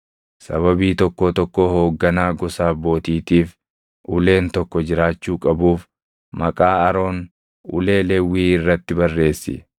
Sababii tokkoo tokkoo hoogganaa gosa abbootiitiif uleen tokko jiraachuu qabuuf maqaa Aroon ulee Lewwii irratti barreessi.